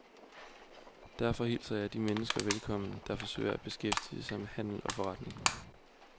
Derfor hilser jeg de mennesker velkommen, der forsøger at beskæftige sig med handel og forretning.